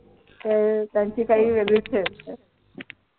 त त्यांची काय वेगळी च हे असते